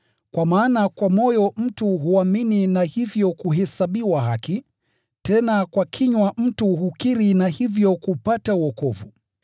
Kwa maana kwa moyo mtu huamini na hivyo kuhesabiwa haki, tena kwa kinywa mtu hukiri na hivyo kupata wokovu.